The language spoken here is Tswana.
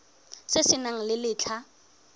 se se nang le letlha